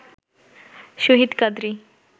Shahid Kadri